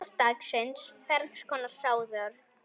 Orð dagsins Ferns konar sáðjörð